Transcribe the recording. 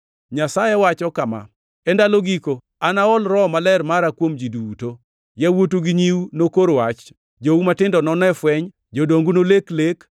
“ ‘Nyasaye wacho kama: E ndalo giko anaol Roho Maler mara kuom ji duto. Yawuotu gi nyiu nokor wach, jou matindo none fweny, jodongu nolek lek.